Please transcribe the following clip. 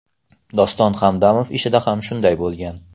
Doston Hamdamov ishida ham shunday bo‘lgan.